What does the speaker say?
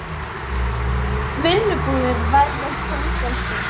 Vinnubúðir verði fangelsi